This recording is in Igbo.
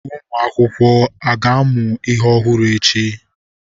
Ụmụ akwụkwọ ga-amụ ihe ọhụrụ echi?